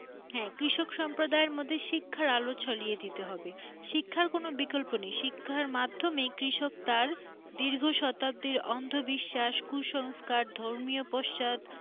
হ্যাঁ কৃষক সম্প্রদায় মধ্যে শিক্ষার আলো ছলিয়ে দিতে হবে শিক্ষার কোন বিকল্প নেই শিক্ষার মাধ্যমে কৃষক তার দীর্ঘ শতাব্দীর অন্ধ বিশ্বাস কুসংস্কার ধর্মীয় পশ্চাদ।